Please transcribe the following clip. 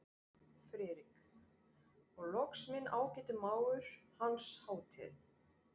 FRIÐRIK: Og loks minn ágæti mágur, Hans Hátign